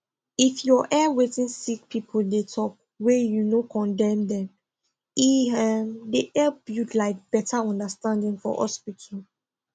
if your hear wetin sick people dey talk wey you no condemn dem e um dey help build like better understanding for hospital